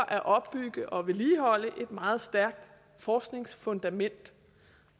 at opbygge og vedligeholde et meget stærkt forskningsfundament